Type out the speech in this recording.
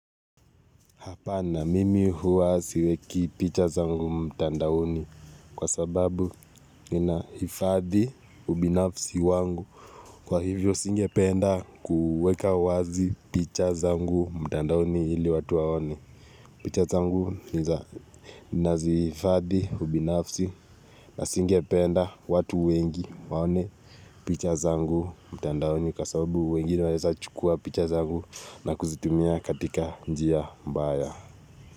Hapana mimi huwa siweki picha zangu mtandaoni kwa sababu ninahifadhi ubinafsi wangu kwa hivyo singependa kuweka wazi picha zangu mtandaoni ili watu waone. Picha zangu nazihifadhi ubinafsi na singependa watu wengi waone picha zangu mtandaoni kwa sababu wengine wanaeza chukua picha zangu na kuzitumia katika njia mbaya.